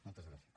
moltes gràcies